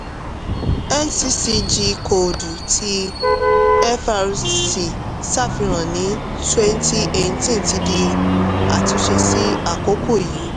nccg kóòdù tí frc ṣàfihàn ní 2018 ti di àtúnṣe sí àkókò yìí.